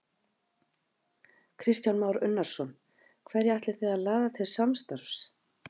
Kristján Már Unnarsson: Hverja ætlið þið að laða til samstarfs?